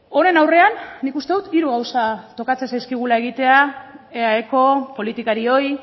horren aurrean nik uste dut hiru gauza tokatzen zaizkigula egitea eaeko politikarioi